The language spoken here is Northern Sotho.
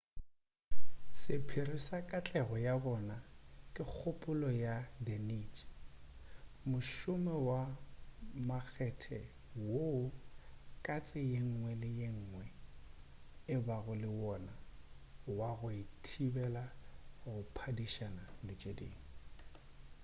sephiri sa katlego ya bona ke kgopolo ya the niche mošomo wa makgethe woo katse yengwe le yengwe e bago le wona wa go e thibela go phadišana le tše dingwe